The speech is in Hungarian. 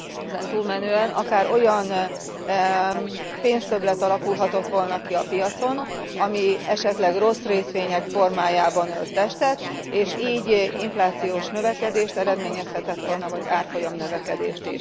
Ezen túlmenően pedig akár olyan pénztöbblet alakulhatott volna ki a piacon, amely esetleg rossz részvények formájában ölt testet, és így inflációs növekedést eredményezhetett volna vagy árfolyam növekedést.